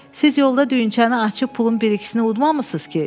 Siz yolda düyünçəni açıb pulun bir ikisini udmamısınız ki?